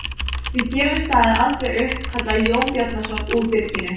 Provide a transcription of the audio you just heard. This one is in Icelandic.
Við gefum staðinn aldrei upp, kallaði Jón Bjarnason úr byrginu.